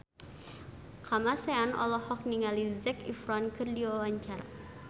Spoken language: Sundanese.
Kamasean olohok ningali Zac Efron keur diwawancara